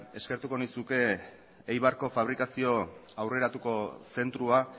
eskertuko nizuke eibarko fabrikazio aurreratuko zentroa